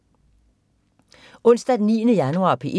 Onsdag den 9. januar - P1: